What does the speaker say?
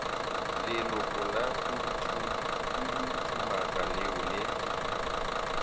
leloko la khuduthamaga leo le